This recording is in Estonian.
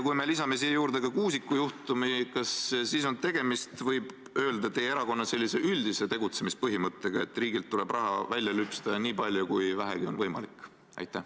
Kui me lisame siia juurde ka Kuusiku juhtumi, kas siis on tegemist, võib öelda, teie erakonna üldise tegutsemispõhimõttega, et riigilt tuleb raha välja lüpsta nii palju kui vähegi võimalik?